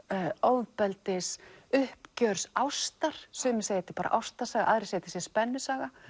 ofbeldis uppgjörs ástar sumir segja þetta er bara ástarsaga aðrir segja að þetta sé spennusaga